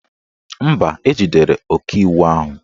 Mba, ejidere ọkaiwu ahụ